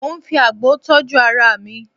Mo ń fi àgbo tọ́jú ara mi